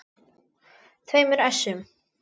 tveimur essum.